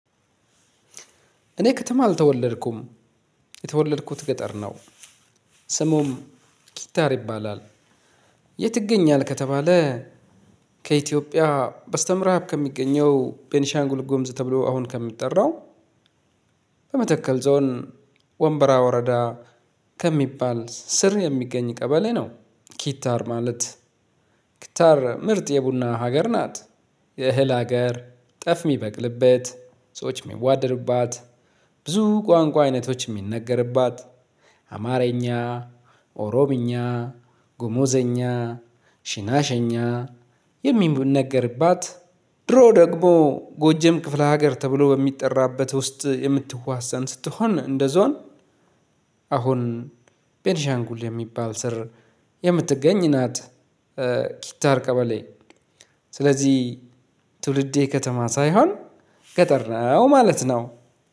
እኔ ከተማ አልተወለድኩም የተወለድኩት ገጠር ነው። ስሙም ኪታር ይባላል። የ የት? ይገኛል ከተባለ ከኢትዮጵያ ባስተ ምዕራብ ከሚገኛው ቤንሻንጉልጉምዝ ተብሎ አሁን ከምጠራው በመተከል ዞን ወንበራ ወረዳ ከሚባል ስር የሚገኝ ቀበሌ ነው። ኪታር ማለት ኪታር ምርጥ የቡና ሀገር ናት። የእህል ሀገር ጤፍ የምበቅልበት ሰዎች የምዋደዱባት ብዙ ቋንቋ አይነቶች የሚነገርባት አማርኛ ኦሮምኛ ጉሙዘኛ ሽናሽኛ የምነገርባት ድሮ ደግሞ ጎጃም ክፍለ ሀገር ተብሎ በሚጠራበት ውስጥ የምትዋሳን ስትሆን እንደ ዞን አሁን ቤንሻንጉል የሚባል ስር የምትገኝ ናት። ኪታር ቀበሌ ስለዚህ ትውልዴ ከተማ ሳይሆን ገጠር ነው ማለት ነው።